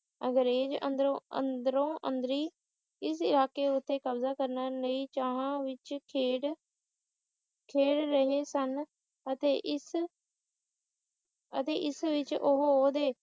ਅੰਗਰੇਜ ਅੰਦਰੋਂ ਅੰਦਰੋਂ ਅੰਦਰੀਂ ਇਸ ਜਾ ਕੇ ਉੱਥੇ ਕਬਜ਼ਾ ਕਰਨਾ ਨਹੀਂ ਚਾਹੁਣ ਵਿੱਚ ਖੇਡ`ਖੇਡ ਰਹੇ ਸਨ ਅਤੇ ਇਸ ਅਤੇ ਇਸ ਵਿੱਚ ਉਹ ਓਹਦੇ